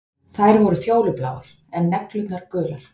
Þær voru fjólubláar, en neglurnar gular.